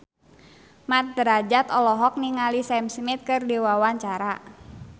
Mat Drajat olohok ningali Sam Smith keur diwawancara